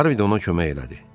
Harvi də ona kömək elədi.